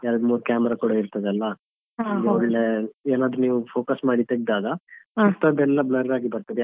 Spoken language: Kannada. ಎರಡ್ ಮೂರು camera ಕೂಡ ಇರ್ತದಲ್ಲ ಏನಾದ್ರು ನೀವ್ focus ಮಾಡಿ ತೆಗ್ದಾಗ ಮಿಕ್ದದ್ದೆಲ್ಲ blur ಆಗಿ ಬರ್ತದೆ.